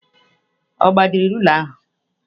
Ọ gbajiri rula ahụ?